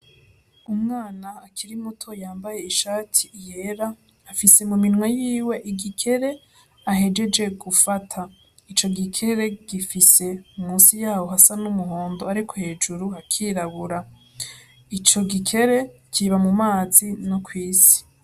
Umwana akiri muto yambaye ishati yera afise mu minwe yiwe igikere ahejeje gufata ico gikere gifise musi yaho hasa n' umuhondo ariko hejuru hakirabura ico gikere kiba mu mazi no kwisi.